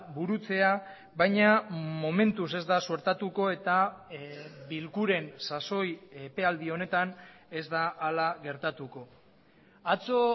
burutzea baina momentuz ez da suertatuko eta bilkuren sasoi epealdi honetan ez da hala gertatuko atzo